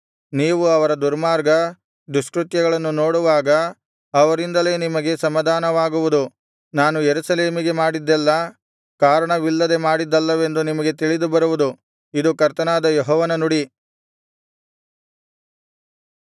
ನೀವು ಅವರ ದುರ್ಮಾರ್ಗ ದುಷ್ಕೃತ್ಯಗಳನ್ನು ನೋಡುವಾಗ ಅವರಿಂದಲೇ ನಿಮಗೆ ಸಮಾಧಾನವಾಗುವುದು ನಾನು ಯೆರೂಸಲೇಮಿಗೆ ಮಾಡಿದ್ದೆಲ್ಲಾ ಕಾರಣವಿಲ್ಲದೆ ಮಾಡಿದ್ದಲ್ಲವೆಂದು ನಿಮಗೆ ತಿಳಿದು ಬರುವುದು ಇದು ಕರ್ತನಾದ ಯೆಹೋವನ ನುಡಿ